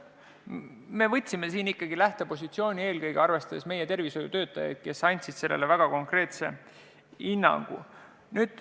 Me võtsime lähtepositsiooni eelkõige arvestades meie tervishoiutöötajate arvamust – nad andsid sellele väga konkreetse hinnangu.